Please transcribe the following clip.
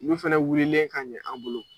Min fana wulilen ka ɲɛ an bolo.